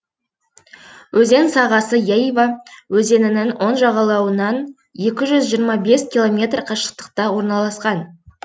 өзен сағасы яйва өзенінің оң жағалауынан екі жүз жиырма бес километр қашықтықта орналасқан